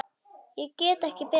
Ég get ekki betur.